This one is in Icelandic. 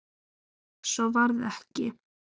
Svo varð ekki.